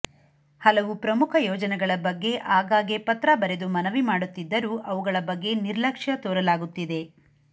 ಹಲವು ಪ್ರಮುಖ ಯೋಜನೆಗಳ ಬಗ್ಗೆ ಆಗಾಗ್ಗೆ ಪತ್ರ ಬರೆದು ಮನವಿ ಮಾಡುತ್ತಿದ್ದರೂ ಅವುಗಳ ಬಗ್ಗೆ ನಿರ್ಲಕ್ಷ್ಯ ತೋರಲಾಗುತ್ತಿದೆ